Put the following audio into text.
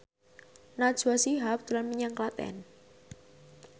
Najwa Shihab dolan menyang Klaten